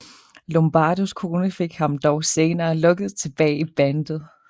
Lombardos kone fik ham dog senere lokket tilbage i bandet